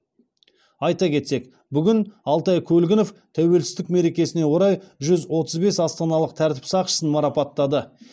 айта кетсек бүгін алтай көлгінов тәуелсіздік мерекесіне орай жүз отыз бес астаналық тәртіп сақшысын марапаттады